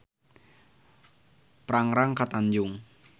Prangrang ka Tanjung.